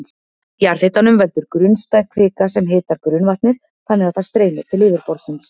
Jarðhitanum veldur grunnstæð kvika sem hitar grunnvatnið þannig að það streymir til yfirborðsins.